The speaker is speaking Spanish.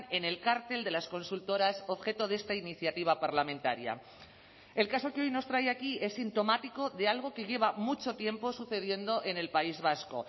en el cartel de las consultoras objeto de esta iniciativa parlamentaria el caso que hoy nos trae aquí es sintomático de algo que lleva mucho tiempo sucediendo en el país vasco